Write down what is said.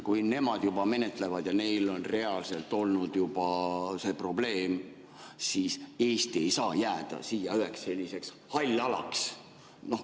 Kui nemad juba menetlevad ja neil on juba reaalselt olnud see probleem, siis Eesti ei saa siin jääda üheks halliks alaks.